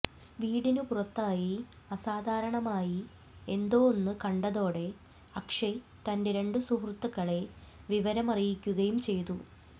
വീടിന് പുറത്തായി അസാധാരണമായി എന്തോ ഒന്ന് കണ്ടതോടെ അക്ഷയ് തന്റെ രണ്ട് സുഹൃത്തുക്കളെ വിവരമറിയിക്കുകയും ചെയ്തു